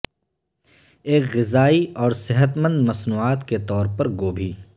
ایک غذائی اور صحت مند مصنوعات کے طور پر گوبھی